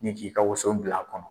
Ni k'i ka woso bila a kɔnɔ.